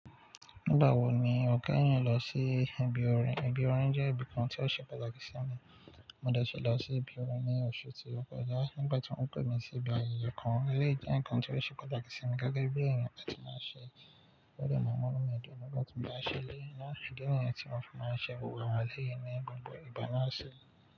Nígbà wo ni o kẹ́yin lọ sí ibi orin? Ibi orin jẹ́ ibi kan tí ó ṣe pàtàkì sí mi. Mo dẹ̀ tí lọ sí ibi orin ní oṣù tí ó kọjá nígbà tí wọ́n pè mí sí ibi ayẹyẹ kan. Eleyi jẹ́ nǹkan tí ó ṣe pàtàkì sí mi gege bí èèyàn tí màá ṣe. Ó dẹ́ màá mu numi dun nígbà tí mo bá ṣẹ. Ǹjẹ́ kíni ǹkan tí wọn fún màá ṣe wò wà lẹ́yìn inú gbogbo igbà náà ṣe?